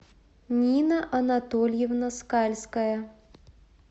нина анатольевна скальская